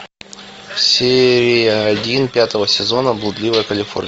серия один пятого сезона блудливая калифорния